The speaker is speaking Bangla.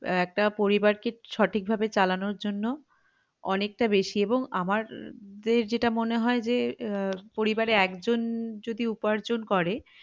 একটা পরিবারকে সঠিক ভাবে চালানোর জন্য অনেকটা বেশি এবং আমার যে~যেটা মনে হয় যে আহ পরিবারের একজন যদি উপার্জন করে